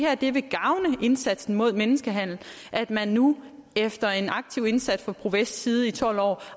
at det vil gavne indsatsen mod menneskehandel at man nu efter en aktiv indsats fra pro vests side i tolv år